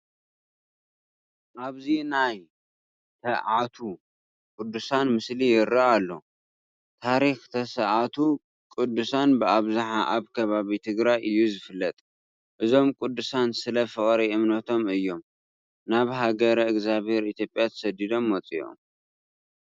ኣብዚ ናይ ተኣዓቱ ቅዱሳን ምስሊ ይርአ ኣሎ፡፡ ታሪክ ተስኣቱ ቅዱሳን ብኣብዝሓ ኣብ ከባቢ ትግራይ እዩ ዝፍለጥ፡፡ እዞም ቅዱሳን ስለ ፍቕሪ እምነቶም እዮም ናብ ሃገረ እግዚኣብሄር ኢትዮጵያ ተሰዲዶም መፂኦም፡፡